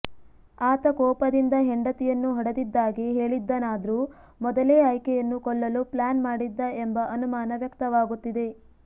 ಆತ ಕೋಪದಿಂದ ಹೆಂಡತಿಯನ್ನು ಹೊಡೆದಿದ್ದಾಗಿ ಹೇಳಿದ್ದಾನಾದ್ರೂ ಮೊದಲೇ ಆಕೆಯನ್ನು ಕೊಲ್ಲಲು ಪ್ಲಾನ್ ಮಾಡಿದ್ದ ಎಂಬ ಅನುಮಾನ ವ್ಯಕ್ತವಾಗುತ್ತಿದೆ